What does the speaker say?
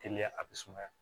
Teliya a bɛ sumaya